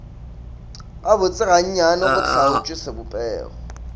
gabotse gannyane go hlaotšwe sebopego